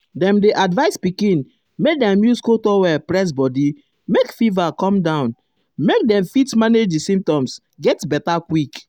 dem dey advise pikin make dem use cold towel press body make fever come down um make dem fit manage di symptoms get beta quick.